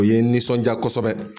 O ye n nisɔnja kosɛbɛ.